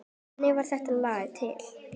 Þannig varð þetta lag til.